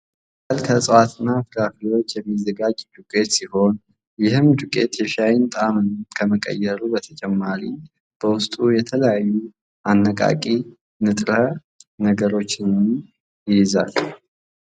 ሻይ ቅጠል ከእፅዋት እና ፍራፍሬዎች የሚዘጋጅ ዱቄት ሲሆን ይህም ዱቄት የሻይን ጣምና ከመቀየሩ በተጨማሪ በውስጡ የተለያዩ አነቃቂ ንጥረ ነገሮችን ይይዛል።